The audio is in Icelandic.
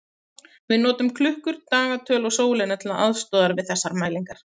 Við notum klukkur, dagatöl og sólina til aðstoðar við þessar mælingar.